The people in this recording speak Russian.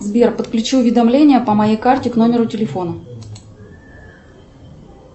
сбер подключи уведомления по моей карте к номеру телефона